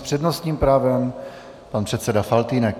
S přednostním právem pan předseda Faltýnek.